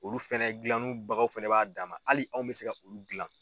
Olu fɛnɛ gilanni bagaw fɛnɛ b'a dan ma hali anw bɛ se ka olu gilan.